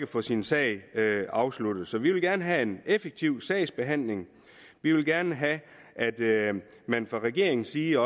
få sin sag afsluttet så vi vil gerne have en effektiv sagsbehandling vi vil gerne have at man fra regeringens side